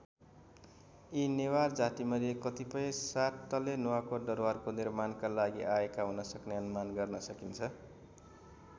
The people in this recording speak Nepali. यी नेवार जातिमध्ये कतिपय सात तले नुवाकोट दरबारको निर्माणका लागि आएका हुनसक्ने अनुमान गर्न सकिन्छ।